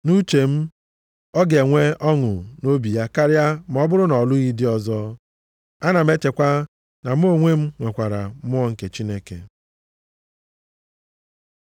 Nʼuche m, ọ ga-enwe ọṅụ nʼobi ya karịa ma ọ bụrụ na ọ lụghị di ọzọ. Ana m echekwa na mụ onwe m nwekwara Mmụọ nke Chineke. + 7:40 Ndụmọdụ ndị a m nyere unu si na Mmụọ nke Chineke.